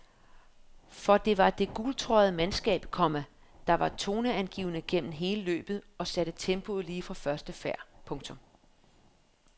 For det var det gultrøjede mandskab, komma der var toneangivende gennem hele løbet og satte tempoet lige fra første færd. punktum